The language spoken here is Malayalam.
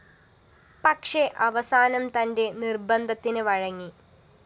പക്ഷേ അവസാനം തന്റെ നിര്‍ബന്ധത്തിന് വഴങ്ങി